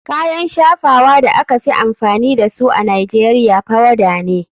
Kayan shafawa da aka fi amfani da su a nigeria powader ne.